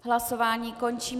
Hlasování končím.